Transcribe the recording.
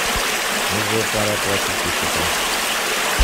уже пора платить по счетам